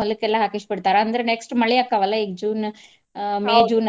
ಹೊಲಕ್ಕೆಲ್ಲಾ ಹಾಕಿಸಿ ಬಿಡ್ತಾರ. ಅಂದ್ರ next ಮಳಿ ಆಕ್ಕಾವಲಾ ಈಗ June ಆ June